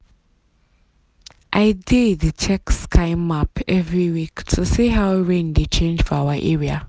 i dey dey check sky map every week to see how rain dey change for our area.